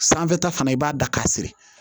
Sanfɛta fana i b'a da ka si siri